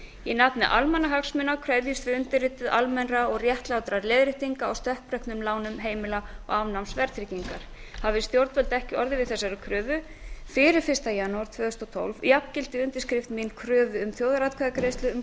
í nafni almannahagsmuna krefjumst við undirrituð almennra og réttlátra leiðréttinga á stökkbreyttum lánum heimilanna og afnáms verðtryggingar hafi stjórnvöld ekki orðið við þessari kröfu fyrir fyrsta janúar tvö þúsund og tólf jafngildir undirskrift mín kröfu um þjóðaratkvæðagreiðslu um